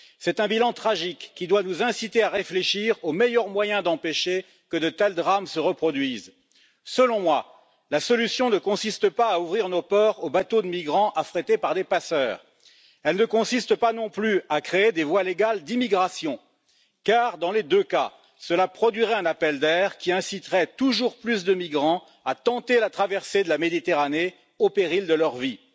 C'est un bilan tragique qui doit nous inciter à réfléchir au meilleur moyen d'empêcher que de tels drames se reproduisent. Selon moi, la solution ne consiste pas à ouvrir nos ports aux bateaux de migrants affrétés par des passeurs, elle ne consiste pas non plus à créer des voies légales d'immigration car, dans les deux cas, cela produirait un appel d'air qui inciterait toujours plus de migrants à tenter la traversée de la Méditerranée, au péril de leur vie.